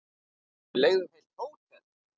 Við leigðum heilt hótel.